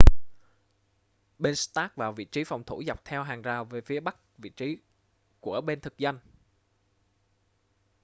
bên stark vào vị trí phòng thủ dọc theo hàng rào về phía bắc vị trí của bên thực dân